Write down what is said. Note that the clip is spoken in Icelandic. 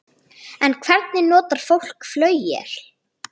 En hvernig notar fólk flauel?